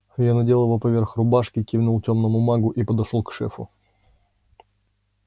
я надел его поверх рубашки кивнул тёмному магу и подошёл к шефу